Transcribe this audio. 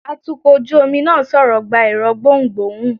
atukọ̀ ojú omi náà sọrọ gbá ẹrọ gbohún-gbohún